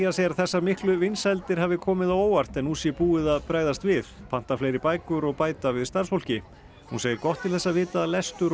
segir að þessar miklu vinsældir hafi komið á óvart en nú sé búið að bregðast við panta fleiri bækur og bæta við starfsfólki hún segir gott til þess að vita að lestur og